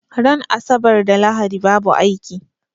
Ran asabar da lahadi babu aiki